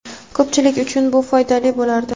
ko‘pchilik uchun bu foydali bo‘lardi.